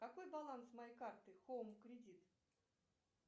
какой баланс моей карты хоум кредит